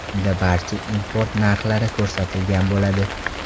Unda barcha import narxlari ko‘rsatilgan bo‘ladi.